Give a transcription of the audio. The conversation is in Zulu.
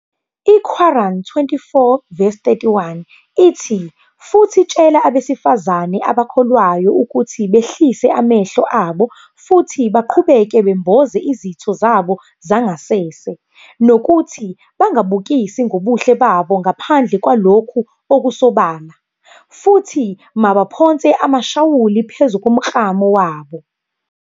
I-Qur'an 24-31 ithi "Futhi tshela abesifazane abakholwayo ukuthi behlise amehlo abo futhi baqhubeke bemboze izitho zabo zangasese, nokuthi bangabukisi ngobuhle babo ngaphandle kwalokhu okusobala, futhi mabaphonse amashawuli phezu komklamo wabo.